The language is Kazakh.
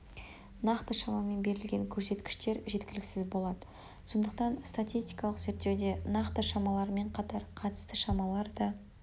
нақты шамамен берілген көрсеткіштер жеткіліксіз болады сондықтан статистикалық зерттеуде нақты шамалармен қатар қатысты шамалар да